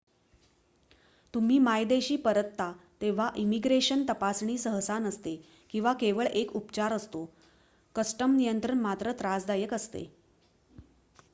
तुम्ही मायदेशी परतता तेव्हा इमिग्रेशन तपासणी सहसा नसते किंवा केवळ एक उपचार असतो कस्टम नियंत्रण मात्र त्रासदायक असते